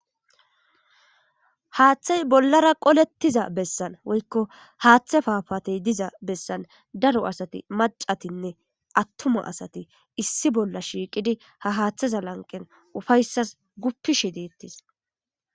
Haaththay bollara qolettiza bessan woykko haaththe paafatey diza bessan daro asati macatinne attuma asati issi bolla shiiqidi ha haaththaza lanqen ufayssas guppishi deettis.